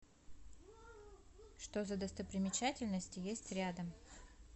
что за достопримечательности есть рядом